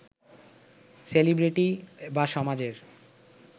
celebrity বা সমাজের